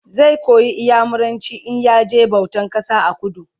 zai koyi inyamuranci in ya je bautan kasa a kudu